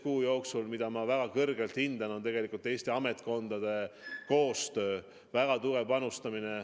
See on olnud selle viimase 11 kuu jooksul tehtud Eesti ametkondade koostöö, kõigi väga tugev panustamine.